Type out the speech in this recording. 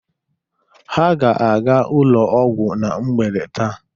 Ha ga-aga ụlọ ọgwụ na mgbede taa.